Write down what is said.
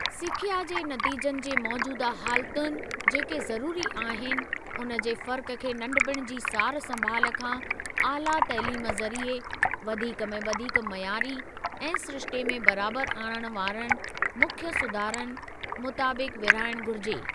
सिख्या जे नतीजनि जे मौजूदा हालतुनि जेके ज़रूरी आहिनि, उन जे फ़र्क़ खे नंढपिण जी सार संभाल खां ऑला तइलीम ज़रीए वधीक में वधीक मयारी ऐं सिरिश्ते में बराबर आणण वारनि मुख्य सुधारनि मुताबिक विरिहाइणु घुरिजे।